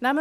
sparen.